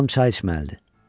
Anam çay içməlidir.